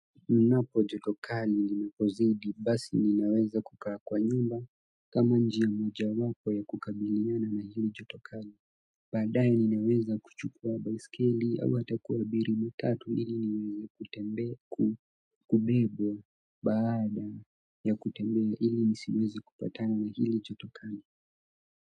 Ninapo joto kali linapozidi basi ninaweza kukaa kwa nyumba kama njia mojawapo ya kukabiliana na hili joto kali. Baadaye ninaweza kuchukua baiskeli au hata kuabiri matatu ili niweze kutembe, kubebwa baada ya kutembea ili nisiweze kupatana na hili jotokali.